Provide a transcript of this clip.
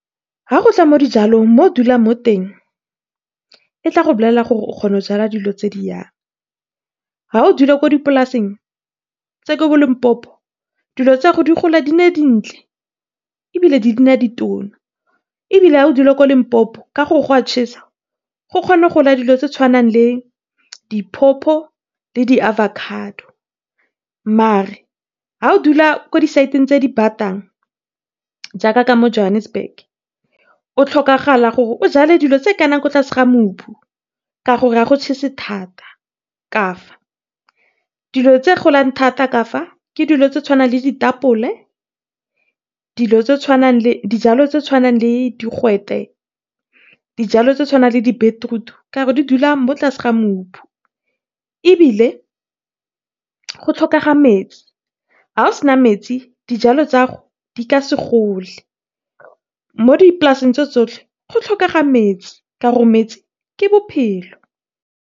Ga gotla mo dijalong mo o dulang mo teng tla go bolella gore o kgona go jala dilo tse di yang. Ga o dula ko dipolaseng tse ko bo Limpopo dilo tsago di gola di nne dintle ebile di nna ditona. Ebile ha o dula ko Limpopo ka gore go a chesa go kgona gola dilo tse di tshwanang le di pawpaw le di avocado, mare ga o dula ko di site-ng tse di batang jaaka ka fo Johannesbug, o tlhokagala gore o jale tse kana ko tlase ga mobu kana a go chese thata ka fa. Dilo tse golang thata ka fa, ke dilo tse di tshwanang le ditapole, dijalo tse tshwanang le digwete, dijalo tse tshwanang le di beetroot ka gore di dula ko tlase ga mobu. Ebile go tlhokega metsi ga o sena metsi dijalo tsa gago di ka segole. Mo dipolaseng tso tsotlhe go tlhokega metsi ka gore metsi ke bophelo.